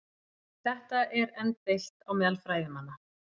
Um þetta eru enn deilt á meðal fræðimanna.